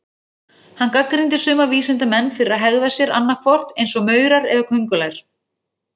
Hann gagnrýndi suma vísindamenn fyrir að hegða sér annað hvort eins og maurar eða köngulær.